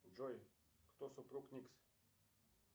джой кто супруг никс